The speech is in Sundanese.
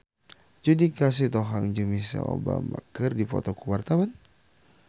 Judika Sitohang jeung Michelle Obama keur dipoto ku wartawan